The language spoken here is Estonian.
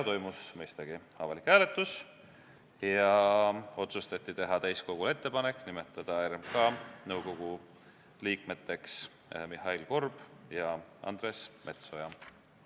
Toimus mõistagi avalik hääletus ja otsustati teha täiskogule ettepanek nimetada RMK nõukogu liikmeteks Mihhail Korb ja Andres Metsoja.